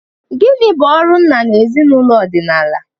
Gịnị bụ ọrụ nna na ezinụlọ ọdịnala?